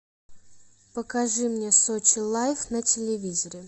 покажи мне сочи лайф на телевизоре